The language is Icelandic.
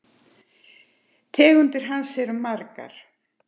Tegundir hans eru margar